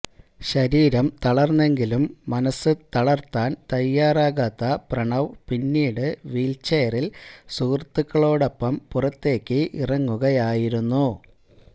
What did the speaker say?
ശരീരം തളര്ന്നെങ്കിലും മനസ്സ് തളര്ത്താന് തയ്യാറാകാത്ത പ്രണവ് പിന്നീട് വീല്ച്ചെയറില് സുഹൃത്തുക്കളോടൊപ്പം പുറത്തേക്ക് ഇറങ്ങുകയായിരുന്നു